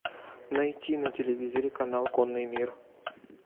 найти на телевизоре канал конный мир